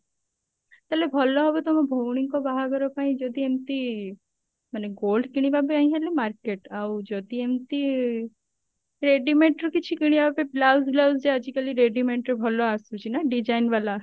ତାହେଲେ ଭଲ ହବ ତମ ଭଉଣୀ ଙ୍କ ବାହାଘର ପାଇଁ ଯଦି ଏମତି ମାନେ gold କିଣିବା ପାଇଁ ହେଲେ market ଆଉ ଯଦି ଏମତି readymade ରୁ କିଛି କିଣିବା ବି blouse ବ୍ଳାଉଜ ଯେ ଆଜିକାଲି readymade ର ଭଲ ଆସୁଛି ନା design ବାଲା